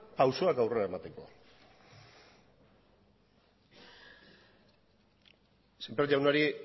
pausoak aurrera emateko semper jaunari